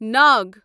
ناگ